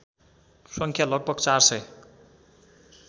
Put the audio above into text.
सङ्ख्या लगभग ४००